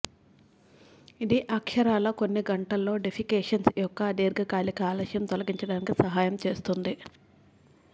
ఇది అక్షరాలా కొన్ని గంటల్లో డెఫెక్సేషన్ యొక్క దీర్ఘకాలిక ఆలస్యం తొలగించడానికి సహాయం చేస్తుంది